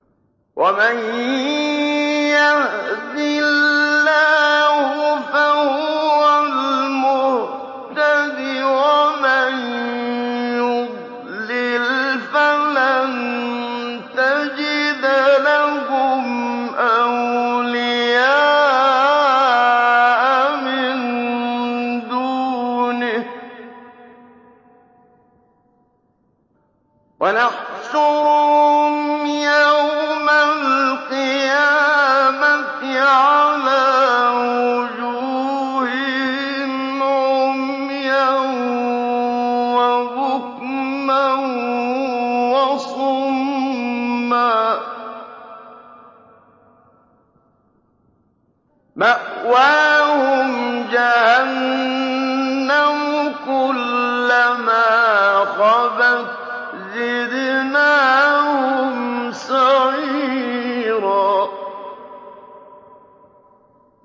وَمَن يَهْدِ اللَّهُ فَهُوَ الْمُهْتَدِ ۖ وَمَن يُضْلِلْ فَلَن تَجِدَ لَهُمْ أَوْلِيَاءَ مِن دُونِهِ ۖ وَنَحْشُرُهُمْ يَوْمَ الْقِيَامَةِ عَلَىٰ وُجُوهِهِمْ عُمْيًا وَبُكْمًا وَصُمًّا ۖ مَّأْوَاهُمْ جَهَنَّمُ ۖ كُلَّمَا خَبَتْ زِدْنَاهُمْ سَعِيرًا